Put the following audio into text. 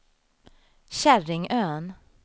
Käringön